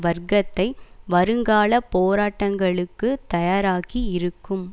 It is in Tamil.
வர்க்கத்தை வருங்கால போராட்டங்களுக்கு தயாராக்கி இருக்கும்